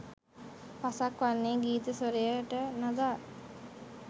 පසක් වන්නේ ගීත ස්වරයට නගා